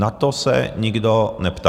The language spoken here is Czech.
Na to se nikdo neptá.